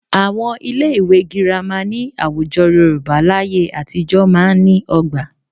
Àwọn ilé ìwé Girama ní àwùjọ Yorùbá láyé àtijọ́ máa ń ní ọgbà